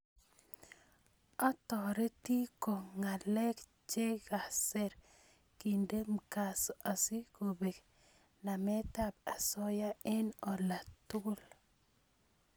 Otoroti ko ngalek chekaser kende mkazo asikobek nametab osoya eng olatugul